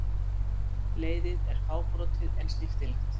Leiðið er fábrotið en snyrtilegt.